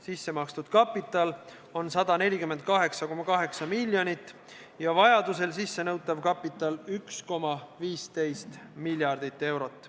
Sissemakstud kapital on 148,8 miljonit ja vajaduse korral sissenõutav kapital 1,15 miljardit eurot.